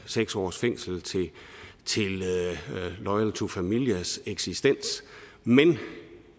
seks års fængsel til loyal to familias eksistens men